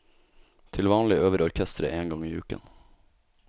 Til vanlig øver orkesteret én gang i uken.